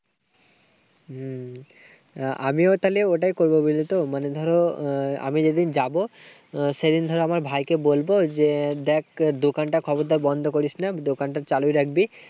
হম আমিও তাইলে ওটাই করবো, বুঝলে তো। মানে ধরো, আমি যেদিন যাবো, সেদিন ধরো আমার ভাইকে বলবো যে দেখ, খবরদার বন্ধ করিস না। দোকানটা চালু রাখবি।